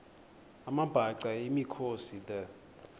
amabhaca yimikhosi the